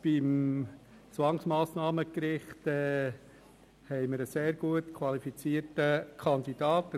Beim Zwangsmassnahmengericht haben wir einen sehr gut qualifizierten Kandidaten: